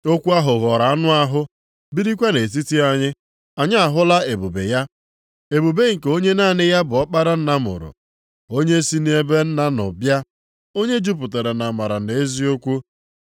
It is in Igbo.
Okwu ahụ ghọrọ anụ ahụ + 1:14 Maọbụ, mmadụ birikwa nʼetiti anyị. Anyị ahụla ebube ya, ebube nke onye naanị ya bụ Ọkpara Nna mụrụ, onye si nʼebe Nna nọ bịa, onye jupụtara nʼamara na eziokwu.